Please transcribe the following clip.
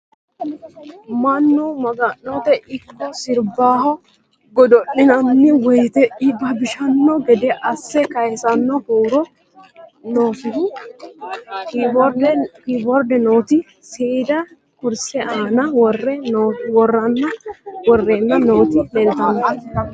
Mannu maga'notte ikko siribbaho godo'linaanni woyiitte ibbabishanno gede asse kayiisanno huuro noosihu kiboride nootti seedda kurise aanna worrenna nootti leelittanno